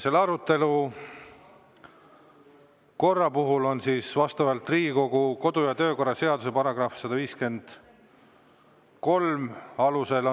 Selle arutelu pidamiseks on juhatus määranud Riigikogu kodu- ja töökorra seaduse § 153 alusel